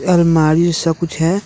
अलमारी सा कुछ है।